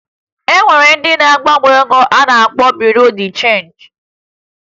E nwere ndị na-agbanwe ego a na-akpọ Buru Di Chenji